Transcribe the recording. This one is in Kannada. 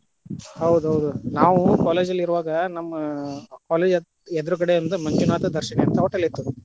ಹೌದ ಹೌದ ನಾವ college ಲ್ಲಿ ಇರುವಾಗ ನಮ್ಮ college ಎದುರುಗಡೆ ಮಂಜುನಾಥ ದರ್ಶಿನಿ ಅಂತ hotel ಇತ್ತು.